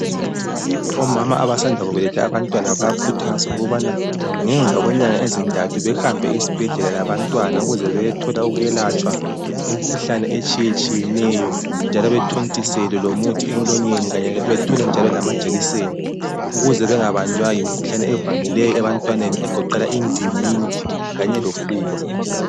Omama abasanda kubeletha abantwana bayakhuthazwa ukubana ngemva kwenyanga ezintathu behambe esibhedlela labantwana ukuze beyethola ukwelatshwa imikhuhlane etshiyetshiyeneyo njalo bethontiselwe lomuthi emlonyeni kanye bethole njalo lamajekisi ukuze bengabanjwa yimikhuhlane ivamileyo ebantwaneni egoqela indingidi kanye lofuba.